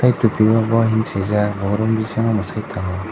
ai tupi o boy henui swijak bo room bisingo mwsai tongo.